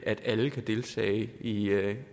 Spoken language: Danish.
at alle kan deltage i